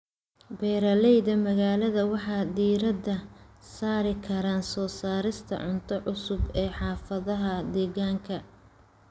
Beeralayda magaalada waxay diiradda saari karaan soo saarista cunto cusub ee xaafadaha deegaanka.